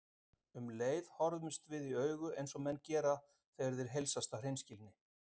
Um leið horfðumst við í augu eins og menn gera þegar þeir heilsast af hreinskilni.